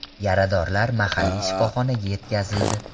Yaradorlar mahalliy shifoxonaga yetkazildi.